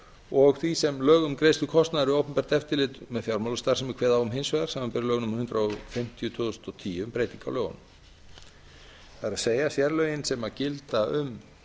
og því sem lög um greiðslu kostnaðar við opinbert eftirlit með fjármálastarfsemi kveða á um hins vegar samanber lög númer hundrað fimmtíu tvö þúsund og tíu um breyting á lögunum það er fjárlögin sem gilda um